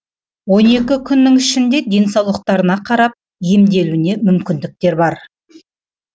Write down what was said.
он күннің ішінде денсаулықтарына қарап емделуіне мүмкіндіктер бар